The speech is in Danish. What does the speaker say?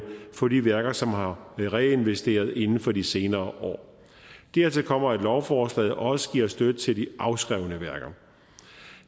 for de værker som har reinvesteret inden for de senere år dertil kommer at lovforslaget også giver støtte til de afskrevne værker